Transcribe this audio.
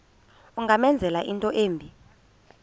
ungamenzela into embi